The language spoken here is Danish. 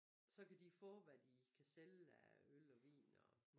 Så kan de få hvad de kan sælge af øl og vin og